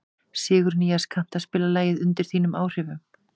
Sigurnýas, kanntu að spila lagið „Undir þínum áhrifum“?